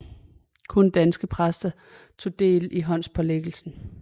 Kun danske præster tog del i håndspålæggelsen